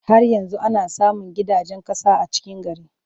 Har yanzu ana samun gidajen ƙasa a cikin gari.